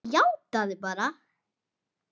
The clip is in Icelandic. Játaðu það bara!